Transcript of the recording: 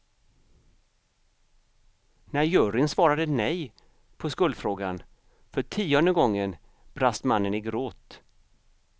När juryn svarade nej på skuldfrågan för tionde gången brast mannen i gråt.